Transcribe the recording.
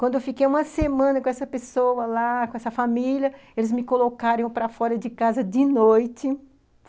Quando eu fiquei uma semana com essa pessoa lá, com essa família, eles me colocaram para fora de casa de noite.